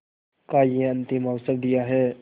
का यह अंतिम अवसर दिया है